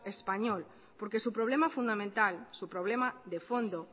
español porque su problema fundamental su problema de fondo